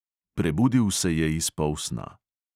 Prebudil se je iz polsna.